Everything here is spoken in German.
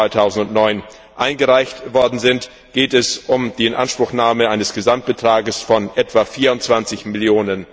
1. Mai 2009 eingereicht wurden, geht es um die Inanspruchnahme eines Gesamtbetrages von etwa 24 Mio.